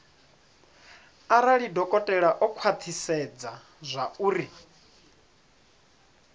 arali dokotela o khwathisedza zwauri